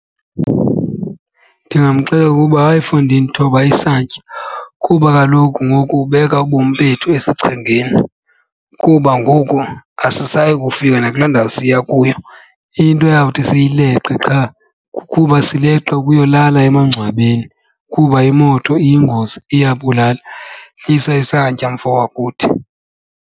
Ndingamxelela ukuba, hayi fondini thoba isantya kuba kaloku ngoku ubeka ubomi bethu esichengeni. Kuba ngoku asisayi kufika nakula ndawo siya kuyo, into eyawuthi siyileqe qha kukuba sileqe ukuyolala emangcwabeni kuba imoto iyingozi iyabulala. Hlisa isantya mfo wakuthi.